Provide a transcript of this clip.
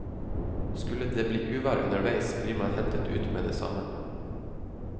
Skulle det bli uvær underveis, blir man hentet ut med det samme.